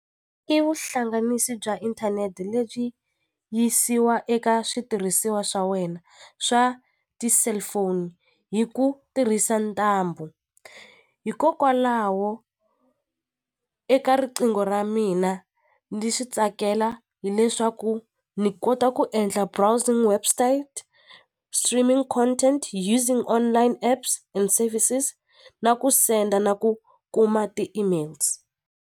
I vuhlanganisi bya inthanete lebyi yisiwa eka switirhisiwa swa wena swa ti-cellphone hi ku tirhisa ntambu hikokwalaho eka riqingho ra mina ni swi tsakela hileswaku ni kota ku endla browsing website streaming content using online apps and services na ku send-a na ku kuma ti-emails.